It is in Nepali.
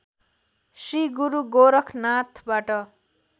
श्री गुरु गोरखनाथबाट